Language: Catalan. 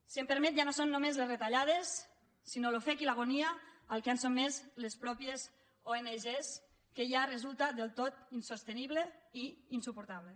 si m’ho permet ja no són només les retallades sinó l’ofec i l’agonia a què han sotmès les mateixes ong que ja resulta del tot insostenible i insuportable